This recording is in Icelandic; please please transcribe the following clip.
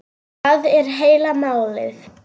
Það er heila málið!